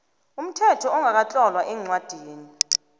umthetho ongakatlolwa eencwadini